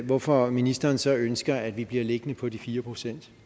hvorfor ministeren så ønsker at vi bliver liggende på de fire procent